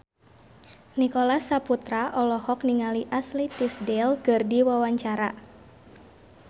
Nicholas Saputra olohok ningali Ashley Tisdale keur diwawancara